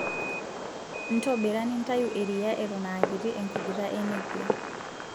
Ntobira nintayu eriyiaa eton aakiti enkujita enepia.